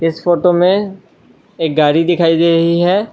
इस फोटो में एक गाड़ी दिखाई दे रही है।